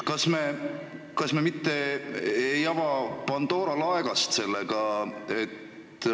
Kas me mitte ei ava sellega Pandora laegast?